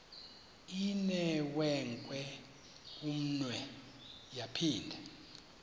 inewenkwe umnwe yaphinda